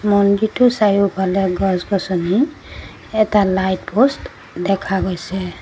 মন্দিৰটোৰ চাৰিওফালে গছ-গছনি এটা লাইট প'ষ্ট দেখা গৈছে।